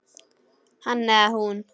Hann eða hún